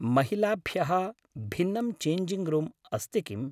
महिलाभ्यः भिन्नं changing room अस्ति किम्?